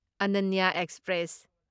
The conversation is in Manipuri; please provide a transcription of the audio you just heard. ꯑꯅꯅ꯭ꯌ ꯑꯦꯛꯁꯄ꯭ꯔꯦꯁ